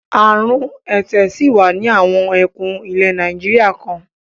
Àrùn ẹ̀tẹ̀ ṣì wà ní àwọn ẹkùn ilẹ̀ Nàìjíríà kan.